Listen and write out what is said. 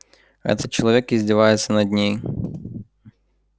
этот человек издевается над ней